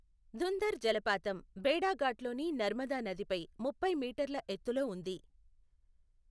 ధుంధర్ జలపాతం భేడాఘాట్లోని నర్మదా నదిపై ముప్పై మీటర్ల ఎత్తులో ఉంది.